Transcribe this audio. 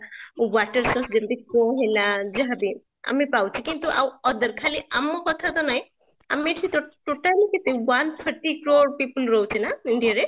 water source ଯେମିତି କ'ଣ ହେଲା ଯାହା ବି ଆମେ ପାଉଛେ କିନ୍ତୁ ଆଉ other ଖାଲି ଆମ କଥା ତ ନାହିଁ ଆମେ ତ କେତେ total କେତେ one thirty crore people ରହୁଛେ ନା india ରେ ?